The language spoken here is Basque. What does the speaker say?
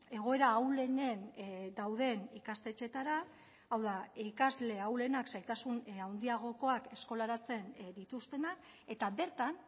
egoera ahulenen dauden ikastetxeetara hau da ikasle ahulenak zailtasun handiagokoak eskolaratzen dituztenak eta bertan